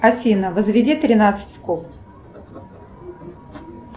афина возведи тринадцать в куб